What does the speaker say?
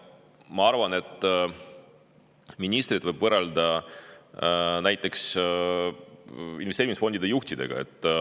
Ma arvan, et ministreid võib võrrelda näiteks investeerimisfondide juhtidega.